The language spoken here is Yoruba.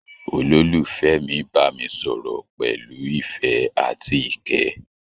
Ololufẹ mí bámi sọ̀rọ̀ pẹlú ìfẹ àti ikẹ́.